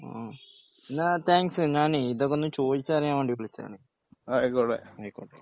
ഹ്മ് ന്നാ താങ്ക്സ് ഞാനെയ് ഇതൊക്കെ ഒന്ന് ചോദിച്ചു അറിയാൻ വേണ്ടിയിട്ട് വിളിച്ചതാണ്. ആയിക്കോട്ടെ.